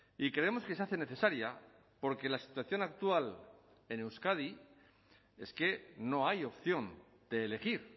y creemos que se hace necesaria porque la situación actual en euskadi es que no hay opción de elegir